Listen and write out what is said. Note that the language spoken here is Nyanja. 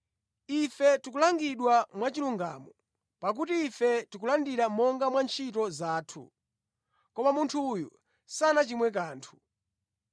Ife tikulangidwa mwachilungamo, pakuti ife tikulandira monga mwa ntchito zathu. Koma munthu uyu sanachimwe kanthu.”